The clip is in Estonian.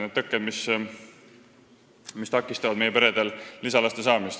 Need tõkked takistavad meie peredel lisalaste saamist.